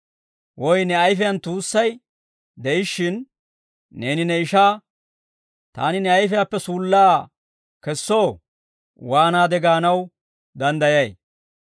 Woy ne ayfiyaan tuussay de'ishshin, neeni ne ishaa, ‹Taani ne ayfiyaappe suullaa kessoo› waanaade gaanaw danddayay?